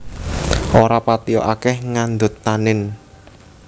Ora patia akèh ngandhut tanin